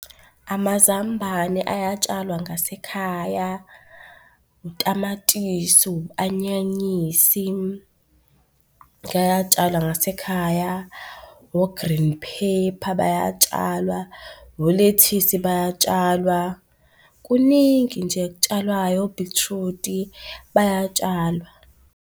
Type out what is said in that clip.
Amazambane ayatshalwa ngasekhaya, utamatisi, u-anyanyisi kayatshalwa ngasekhaya, o-green paper bayatshalwa, olethisi bayatshalwa, kuningi nje okutshalwayo, obhithrudi bayatshalwa.